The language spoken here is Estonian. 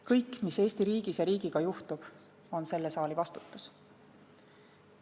Kõik, mis Eesti riigis ja riigiga juhtub, on selle saali vastutus.